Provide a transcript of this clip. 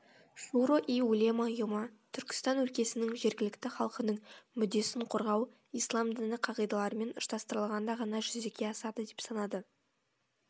шуро и улема ұйымы түркістан өлкесінің жергілікті халқының мүддесін қорғау ислам діні қағидаларымен ұштастырылғанда ғана жүзеге асады деп санады